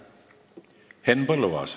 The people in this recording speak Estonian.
Henn Põlluaas.